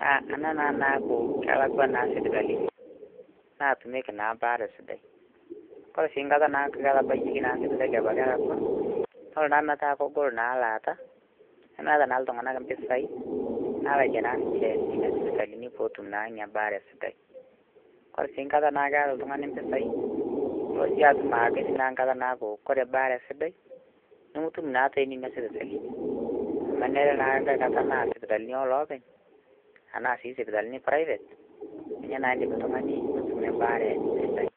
naa ana naa naaku kelakwa naa sipitalini naatumeki naa mbaare sidai, kore sii nkata naaku ketabayieki naa sipitali abaki elakwa nelo naa metaa kegol naa ilaata, nemeeta naa ltunganak mpesaii naalakie naa ninche nena sipitalini peetum naa ina baare esipitali, kpre sii nkata naa keata ltungani mpisaii nilo sii atum aa keti nkata naaaku kore ebaare sidai nimitum naa tenenia sipitalini amu enere naa nkae kata naa sipitalini oloopeny anaa sii sipitalini eprivate ninyenaaa indim ltungani nitumie ebaare sidai.